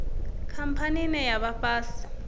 khamphani ine ya vha fhasi